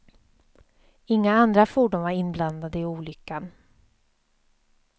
Inga andra fordon var inblandade i olyckan.